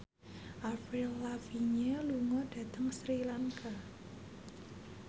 Avril Lavigne lunga dhateng Sri Lanka